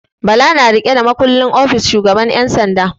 Bala na riƙe da makullin ofis shugaban 'yan sanda.